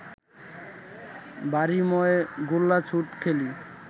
বাড়িময় গোল্লাছুট খেলি